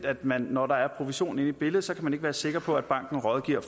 at man når der er provision inde i billedet ikke kan være sikker på at banken rådgiver